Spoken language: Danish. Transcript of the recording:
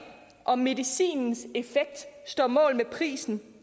om medicinens effekt står mål med prisen